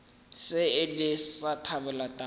se ile sa thabela taba